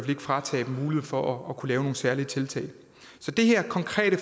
fratages muligheden for at kunne lave nogle særlige tiltag så det her konkrete